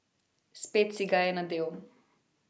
Spet si ga je nadel.